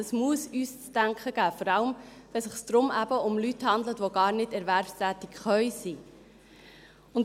Das muss uns zu denken geben, vor allem, wenn es sich eben um Leute handelt, die gar nicht erwerbstätig sein können.